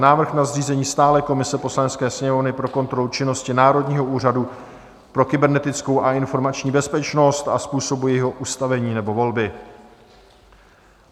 Návrh na zřízení stálé komise Poslanecké sněmovny pro kontrolu činnosti Národního úřadu pro kybernetickou a informační bezpečnost a způsobu jejího ustavení nebo volby